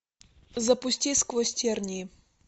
запусти сквозь тернии